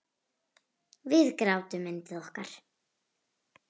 Og við grátum yndið okkar.